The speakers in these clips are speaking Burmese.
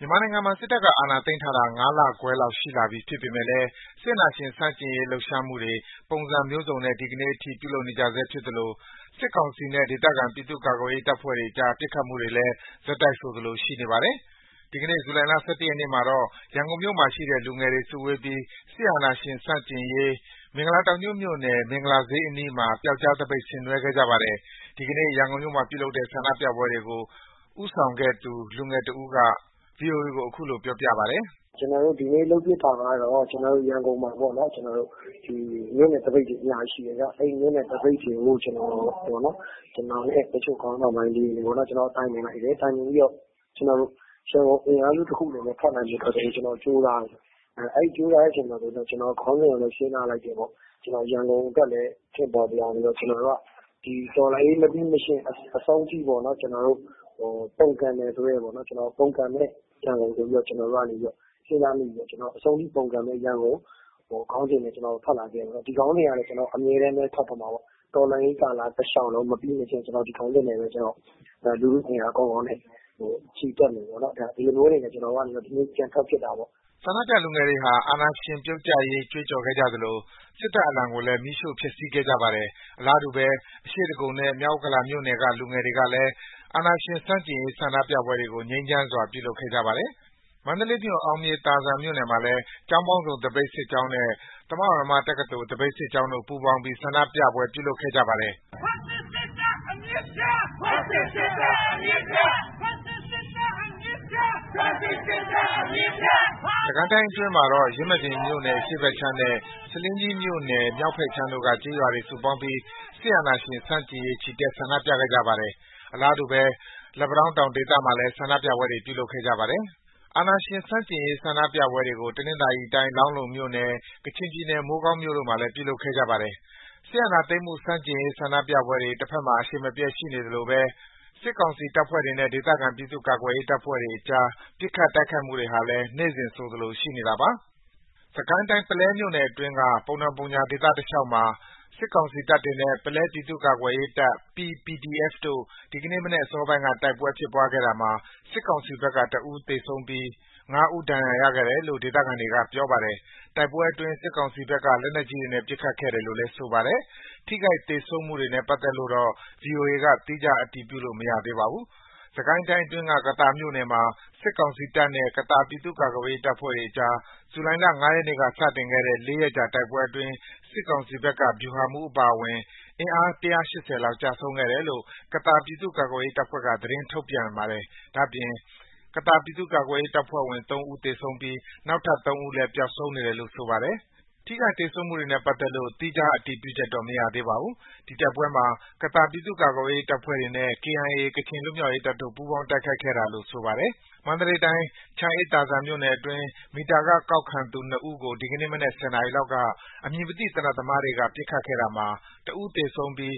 မြန်မာနိုင်ငံမှာ စစ်တပ်က အာဏာသိမ်းထားတာ ၅ လခွဲလောက် ရှိလာနေပြီ ဖြစ်ပေမယ့် အာဏာရှင်ဆန့်ကျင်ရေး လှုပ်ရှားမှုတွေ ပုံစံမျိုးစုံနဲ့ ဒီကနေ့အထိ ပြုလုပ်နေကြဆဲ ဖြစ်သလို စစ်ကောင်စီနဲ့ ဒေသခံ ပြည်သူ့ကာကွယ်ရေး တပ်ဖွဲ့အကြား ပစ်ခတ်မှုတွေလည်း ဆက်တိုက်ဆိုသလို ရှိနေပါတယ်။ ဒီကနေ့ ဇူလိုင်လ ၁၁ ရက်နေ့မှာတော့ ရန်ကုန်မြို့မှာရှိတဲ့ လူငယ်တွေ စုဝေးပြီး စစ်အာဏာရှင်ဆန့်ကျင်ရေး မင်္ဂလာတောင်ညွန့်မြို့နယ်၊ မင်္ဂလာဈေးအနီးမှာ ပြောက်ကျားသပိတ် ဆင်နွှဲခဲ့ကြပါတယ်။ ဒီကနေ့ ရန်ကုန်မြို့မှာ ပြုလုပ်ခဲ့တဲ့ ဆန္ဒပြပွဲတွေကို ဦးဆောင်ပြုလုပ်ခဲ့သူ လူငယ်တဦးက ဗွီအိုအေကို အခုလို ပြောပြပါတယ်။ “ကျနော်တို့ ဒီနေ့လုပ်ဖြစ်တာက ရန်ကုန်မှာ မြို့နယ်သပိတ်တွေ အများကြီးရှိတယ်။ အဲဒီမြို့နယ်သပိတ်တွေကို ကျနော်နဲ့ တချို့ခေါင်းဆောင်ပိုင်းတွေ တိုင်ပင်လိုက်တယ်။ တိုင်ပင်ပြီး ကျနော်တို့ ရန်ကုန်အင်အားစုတခုအနေနဲ့ ထွက်နိုင်ဖို့ ကြိုးစားတယ်။ အဲဒီလို ကြိုးစားတဲ့အချိန်မှာ ကျနော်တို့ ခေါင်းစဉ်ကိုလည်း စဉ်းစားလိုက်တယ်။ ရန်ကုန်အတွက်လည်း ထင်ပေါ်စေအောင်ဆိုပြီး ကျနော်တို့က ဒီတော်လှန်ရေး မပြီးမချင်း အဆုံးထိ ပုန်ကန်မယ်ဆိုတဲ့ ပုန်ကန်မယ့်ရန်ကုန်ဆိုပြီး ကျနော်တို့ စဉ်းစားမိပြီး အဆုံးထိပုန်ကန်မယ့်ရန်ကုန် ခေါင်းစဉ်နဲ့ ကျနော်တို့ ထွက်လာခဲ့တယ်။ ဒီခေါင်းစဉ်ကလည်း အမြဲတမ်းပဲ ထွက်တော့မှာပေါ့။ တော်လှန်ရေးကာလ တလျှောက်လုံး မပြီးမချင်း ဒီခေါင်းစဉ်နဲ့ပဲ လူထုအင်အား ကောင်းကောင်းနဲ့ ချီတက်မယ်။ ဒီလိုမျိုးအနေနဲ့ ကျနော်တို့ ဒီနေ့ ပြန်ထွက်ဖြစ်တာပေါ့။” ဆန္ဒပြလူငယ်တွေဟာ အာဏာရှင်ပြုတ်ကျရေး ကြွေးကြော်ခဲ့ကြသလို စစ်တပ်အလံကိုလည်း မီးရှို့ဖျက်ဆီးခဲ့ကြပါတယ်။ အလားတူပဲ အရှေ့ဒဂုံနဲ့ မြောက်ဥက္ကလာမြို့နယ်က လူငယ်တွေကလည်း အာဏာရှင်ဆန့်ကျင်ရေး ဆန္ဒပြပွဲတွေကို ငြိမ်းချမ်းစွာ ပြုလုပ်ခဲ့ကြပါတယ်။ အလားတူပဲ မန္တလေးမြို့၊ အောင်မြေသာစံမြို့နယ်မှာလည်း ကျောင်းပေါင်းစုံ သပိတ်စစ်ကြောင်းနဲ့ သမဝါယမတက္ကသိုလ် သပိတ်စစ်ကြောင်းတို့ ပူးပေါင်းပြီး ဆန္ဒပြပွဲ ပြုလုပ်ခဲ့ကြပါတယ်။ ဇူလိုင်လ ၁၀ ရက် စနေနေ့ညကလည်း မန္တလေး မဟာသပိတ်စစ်ကြောင်းက မီးတုတ်တွေရှို့ပြီး စစ်အာဏာရှင်ပြုတ်ကျရေး ချီတက် ဆန္ဒပြခဲ့ကြပါတယ်။ စစ်ကိုင်းတိုင်းအတွင်းမှာတော့ ယင်းမာပင်မြို့နယ် အရှေ့ဘက်ခြမ်းနဲ့ ဆားလင်းကြီးမြို့နယ် မြောက်ဘက်ခြမ်းတို့က ကျေးရွာတွေ စုပေါင်းပြီး စစ်အာဏာရှင်ဆန့်ကျင်ရေး ဒီကနေ့ ချီတက် ဆန္ဒပြခဲ့ကြပါတယ်။ အလားတူပဲ လက်ပံတောင်းတောင် ဒေသမှာလည်း ဆန္ဒပြပွဲ ပြုလုပ်ခဲ့ကြပါတယ်။ စစ်အာဏာရှင်ဆန့်ကျင်ရေး ဆန္ဒပြပွဲတွေကို တနင်္သာရီတိုင်း လောင်းလုံမြို့နယ်၊ ကချင်ပြည်နယ် မိုးကောင်းမြို့တို့မှာလည်း ပြုလုပ်ခဲ့ကြပါတယ်။ စစ်အာဏာသိမ်းမှု ဆန့်ကျင်ရေး ဆန္ဒပြပွဲတွေ တဖက်မှာ အရှိန်မပျက် ဆက်ရှိနေသလိုပဲ စစ်ကောင်စီတပ်ဖွဲ့တွေနဲ့ ဒေသခံ ပြည်သူ့ကာကွယ်ရေးတပ်ဖွဲ့အကြား ပစ်ခတ် တိုက်ခိုက်မှုတွေဟာလည်း နေ့စဉ်ဆိုသလို ရှိနေတာပါ။ စစ်ကိုင်းတိုင်း၊ ပုလဲမြို့နယ်အတွင်းက ပုံတောင်ပုံညာ ဒေသတလျှောက်မှာ စစ်ကောင်စီတပ်တွေနဲ့ ပုလဲပြည်သူ့ကာကွယ်ရေးတပ် (P-PDF) တို့ ဒီကနေ့မနက် အစောပိုင်းက တိုက်ပွဲဖြစ်ပွားခဲ့တာမှာ စစ်ကောင်စီဘက်က ၁ ဦးသေပြီး ၅ ဦး ဒဏ်ရာရခဲ့တယ်လို့ ဒေသခံတွေက ပြောပါတယ်။ တိုက်ပွဲအတွင်း စစ်ကောင်စီဘက်က လက်နက်ကြီးတွေနဲ့ ပစ်ခတ်ခဲ့တယ်လို့လည်း ဆိုပါတယ်။ ထိခိုက် သေဆုံးမှုတွေနဲ့ ပတ်သက်လို့တော့ ဗွီအိုအေက သီးခြား အတည်ပြုလို့ မရသေးဘူး။ စစ်ကိုင်းတိုင်းအတွင်းက ကသာမြို့မှာ စစ်ကောင်စီတပ်နဲ့ ကသာ ပြည်သူ့ကာကွယ်ရေး တပ်ဖွဲ့တွေအကြား ဇူလိုင် ၅ ရက်နေ့က စတင်ခဲ့တဲ့ ၄ ရက်ကြာ တိုက်ပွဲတွေအတွင်း စစ်ကောင်စီဘက်က ဗျူဟာမှူးအပါအဝင် အင်အား ၁၈၀ လောက် ကျဆုံးခဲ့တယ်လို့ ကသာ ပြည်သူ့ကာကွယ်ရေး တပ်ဖွဲ့ဘက်က သတင်းထုတ်ပြန်ပါတယ်။ ဒါ့အပြင် ကသာပြည်သူ့ကာကွယ်ရေး တပ်ဖွဲ့ဘက်က ၃ ဦး သေဆုံးပြီး နောက်ထပ် ၃ ဦးလည်း ပျောက်ဆုံးနေတယ်လို့ ဆိုပါတယ်။ ထိခိုက်သေဆုံးမှုတွေနဲ့ ပတ်သက်လို့ သီးခြား အတည်ပြုချက်တော့ မရသေးပါဘူး။ ဒီတိုက်ပွဲမှာ ကသာပြည်သူ့ကာကွယ်ရေး တပ်ဖွဲ့တွေနဲ့ KIA ကချင်လွတ်မြောက်ရေးတပ်တို့ ပူးပေါင်းတိုက်ခိုက်ခဲ့တာလို့ ဆိုပါတယ်။ မန္တလေးတိုင်း၊ ချမ်းအေးသာစံမြို့နယ်အတွင်း မီတာခကောက်ခံသူ ၂ ဦးကို ဒီကနေ့မနက် ၁၀ နာရီလောက်က အမည်မသိ သေနတ်သမားတွေက ပစ်ခတ်ခဲ့တာမှာ ၁ ဦးသေဆုံးပြီး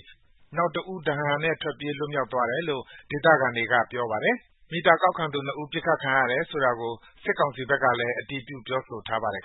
နောက် ၁ ဦးကတော့ ဒဏ်ရာနဲ့ ထွက်ပြေး လွတ်မြောက်သွားတယ်လို့ ဒေသခံတွေက ပြောပါတယ်။ မီတာကောက်ခံသူ ၂ ဦး ပစ်ခတ်ခံရတယ်ဆိုတဲ့ သတင်းကို စစ်ကောင်စီကလည်း အတည်ပြု ပြောဆိုထားပါတယ်